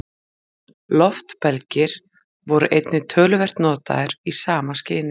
loftbelgir voru einnig töluvert notaðir í sama skyni